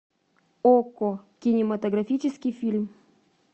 окко кинематографический фильм